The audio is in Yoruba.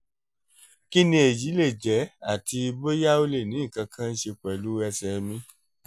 kí ni èyí lè jẹ́ àti bóyá ó lè ní nǹkan kan ṣe pẹ̀lú ẹ̀sẹ̀ mi?